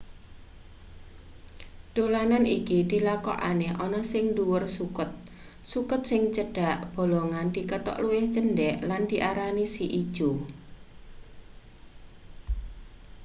dolanan iki dilakokne ana ning ndhuwur suket suket sing cedhak bolongan dikethok luwih cendhek lan diarani si ijo